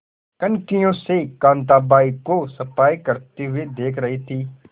कनखियों से कांताबाई को सफाई करते हुए देख रही थी